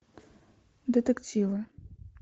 детективы